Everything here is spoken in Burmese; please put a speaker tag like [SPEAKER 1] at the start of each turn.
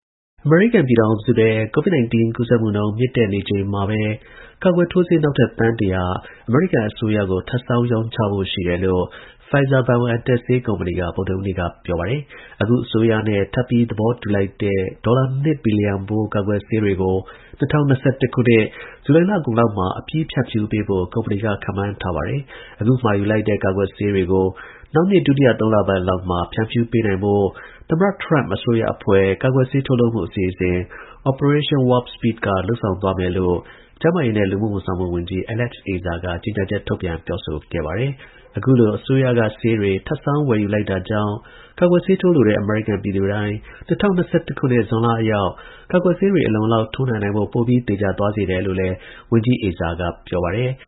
[SPEAKER 1] အမေရိကန်ပြည်ထောင်စုထဲ COVID 19 ကူးစက်မှုနှုန်း မြင့်တက်နေချိန်မှာပဲ ကာကွယ်ထိုးဆေး နောက်ထပ် သန်း ၁ဝဝ ထပ်ဆောင်း ရောင်းချမယ်လို့Pfizer-BioNTechဆေးကုမ္ပဏီတွေက ဗုဒ္ဓဟူးနေ့က ပြောပါတယ်။ အခု အစိုးရနဲ့ ထပ်ပြီးသဘောတူလိုက်တဲ့ ဒေါ်လာ ၂ ဘီလီယံဖိုး ကာကွယ်ဆေးတွေကို ၂၀၂၁ ခုနှစ်ဇူလိုင်လ အကုန်လောက်မှာ အပြီး ဖြန့်ဖြူးပေးဖို့ ကုမ္ပဏီကခန့်မှန်းထားပါတယ်။ အခုမှာယူတဲ့ ကာကွယ်ဆေးတွေကို နောက်နှစ် ဒုတိယသုံးလပတ်လောက်မှာ ဖြန့်ဖြူးပေးနိုင်ဖို့ သမ္မတ ထရမ့် အစိုးရအဖွဲ့ ကာကွယ်ဆေးထုတ်လုပ်မှု အစီအစဉ် Operation Warp Speed က လုပ်ဆောင်သွားမယ် လို့ ကျန်းမာရေးနဲ့ လူမှုဝန်ဆောင်မှုဝန်ကြီး Alex Azar က ကြေညာချက်ထုတ်ပြန်ပြောဆိုခဲ့ပါတယ်။ အခုလိုအစိုးရကဆေးတွေထပ်ဆောင်းဝယ်ယူလိုက်တာကြောင့် ကာကွယ်ဆေးထိုးလိုတဲ့ အမေရိကန်ပြည်သူတိုင်း ၂ဝ၂၁ ခုနှစ် ဇွန်လအရောက် ကာကွယ်ဆေးတွေ အလုံအလောက် ထိုးနှံနိုင်ဖို့ ပိုပြီး သေချာသွားစေတယ်လို့လည်း ဝန်ကြီး Alex Azar
[SPEAKER 2] ကပြောပါတယ်။